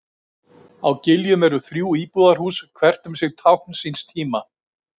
Á Giljum eru þrjú íbúðarhús, hvert um sig tákn síns tíma.